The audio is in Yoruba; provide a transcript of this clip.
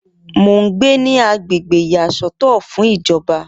Mo ń gbé ní agbègbè ìyàsọ́tọ̀ fún ìjọba